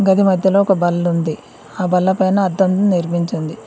గది మధ్యలో ఒక బల్లుంది ఆ బల్ల పైన అద్దం నిర్మించుంది.